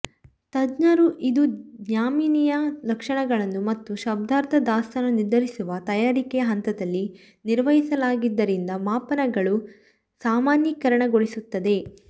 ತಜ್ಞರು ಇದು ಜ್ಯಾಮಿತಿಯ ಲಕ್ಷಣಗಳನ್ನು ಮತ್ತು ಶಬ್ದಾರ್ಥದ ದಾಸ್ತಾನು ನಿರ್ಧರಿಸುವ ತಯಾರಿಕೆಯ ಹಂತದಲ್ಲಿ ನಿರ್ವಹಿಸಲಾಗಿದ್ದರಿಂದ ಮಾಪನಗಳು ಸಾಮಾನ್ಯೀಕರಣಗೊಳಿಸುತ್ತದೆ